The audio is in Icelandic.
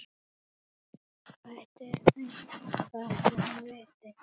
Hvað ætli hún viti?